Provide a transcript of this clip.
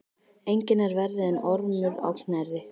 Enginn er verri en Ormur á Knerri.